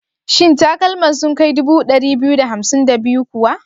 Shin takalman sun kai 2252 kawa?